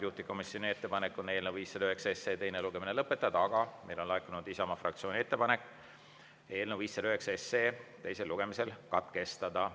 Juhtivkomisjoni ettepanek on eelnõu 509 teine lugemine lõpetada, aga meile on laekunud Isamaa fraktsiooni ettepanek eelnõu 509 teine lugemine katkestada.